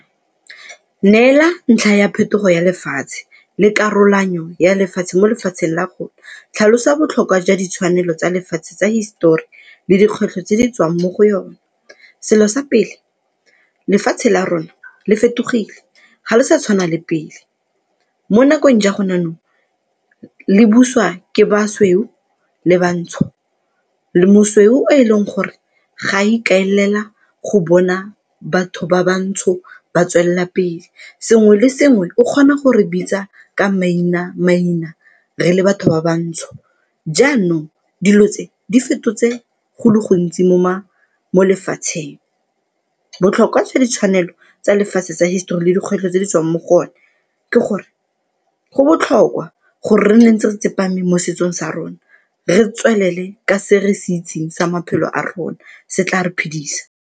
Neela ntlha ya phetogo ya lefatshe le karolanyo ya lefatshe mo lefatsheng la rona, tlhalosa botlhokwa jwa ditshwanelo tsa lefatshe tsa hisetori le dikgwetlho tse di tswang mo go yone? Selo sa pele, lefatshe la rona le fetogile ga le sa tshwana le pele mo nakong ja gone jaanong le buswa ke basweu le bantsho. Mosweu o e leng gore ga ikaelela go bona batho ba bantsho ba tswelela pele. Sengwe le sengwe o kgona gore bitsa ka maina-maina re le batho ba bantsho, jaanong dilo tse di fetotse go le gontsi mo lefatsheng. Botlhokwa jwa ditshwanelo tsa lefatshe tsa hisetori le dikgwetlho tse di tswang mo go one ke gore go botlhokwa gore re nne ntse re tsepame mo setsong sa rona, re tswelele ka se re se itseng sa maphelo a rona, se tla re phidisa.